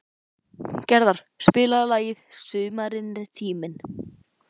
Gerðar, spilaðu lagið „Sumarið er tíminn“.